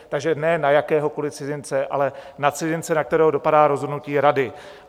Takže ne na jakéhokoliv cizince, ale na cizince, na kterého dopadá rozhodnutí Rady.